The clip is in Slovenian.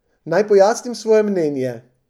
Naj pojasnim svoje mnenje.